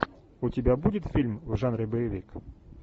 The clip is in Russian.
у тебя будет фильм в жанре боевик